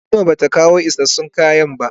Halima bata kawo isassun kaya ba.